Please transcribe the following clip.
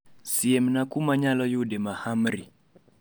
Siemna kumanyalo yude mahamri